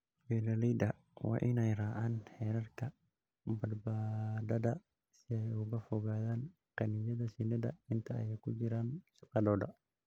Beeralayda waa inay raacaan xeerarka badbaadada si ay uga fogaadaan qaniinyada shinnida inta ay ku jiraan shaqadooda.